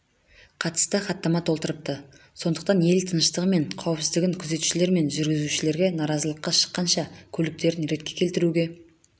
қатысты хаттама толтырыпты сондықтан ел тыныштығы мен қауіпсіздігін күзетушілер жүргізушілерге наразылыққа шыққанша көліктерін ретке келтіруге